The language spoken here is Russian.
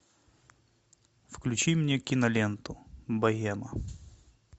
включи мне киноленту богема